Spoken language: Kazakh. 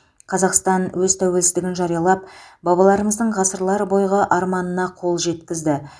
қазақстан өз тәуелсіздігін жариялап бабаларымыздың ғасырлар бойғы арманына қол жеткізді